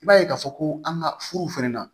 I b'a ye k'a fɔ ko an ka furu fɛnɛ na